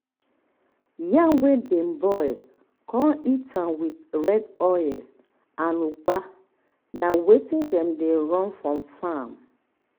yam wey dem boil con eat am with am red oil and ugba na wetin dem dey run for farm